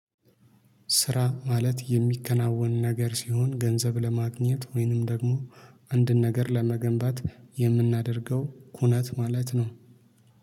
ስራ ማለት የሚከናወን ነገር ሲሆን ገንዘብ ለማግኘት ወይንም ደግሞ አንድን ነገር ለመገንባት የምናደርገው ኩነት ማለት ነው።